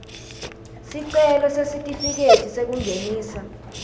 sicelo sesitifiketi sekungenisa